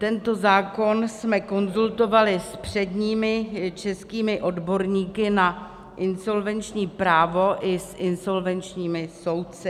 Tento zákon jsme konzultovali s předními českými odborníky na insolvenční právo i s insolvenčními soudci.